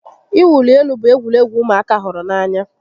Ị wuli elu bụ egwuregwu ụmụaka hụrụ n'anya